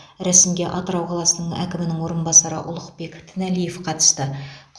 рәсімге атырау қаласының әкімінің орынбасары ұлықбек тіналиев қатысты